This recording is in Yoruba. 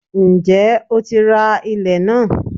Ǹjẹ́ o ti ra ilẹ̀n náà?